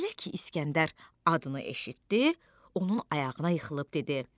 Elə ki, İskəndər adını eşitdi, onun ayağına yıxılıb dedi: